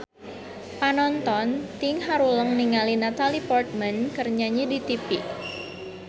Panonton ting haruleng ningali Natalie Portman keur nyanyi di tipi